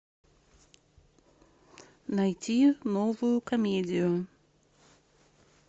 найти новую комедию